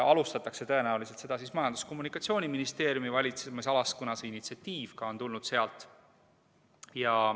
Alustatakse tõenäoliselt Majandus- ja Kommunikatsiooniministeeriumi valitsemisalas, kuna initsiatiiv on tulnud sealt.